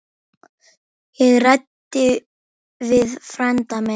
Ég ræddi við frænda minn.